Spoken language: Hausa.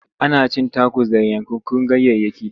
Ana cin takos da yankakkun ganyayyaki.